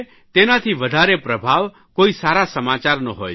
તેનાથી વધારે પ્રભાવ કોઇ સારા સમાચારનો હોય છે